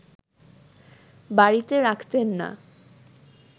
বাড়িতে রাখতেন না